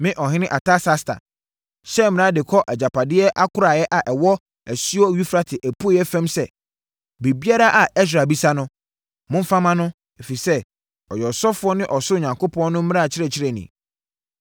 Me ɔhene Artasasta, hyɛ mmara de kɔ agyapadeɛ akoraeɛ a ɛwɔ asuo Eufrate apueeɛ fam sɛ: Biribiara a Ɛsra bisa no, momfa mma no, ɛfiri sɛ, ɔyɛ ɔsɔfoɔ ne ɔsorosoro Onyankopɔn no mmara kyerɛkyerɛni.